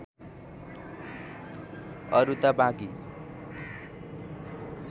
अरू त बाँकी